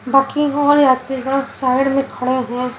बाकी होल यात्रीगण साइड में खड़े हैं।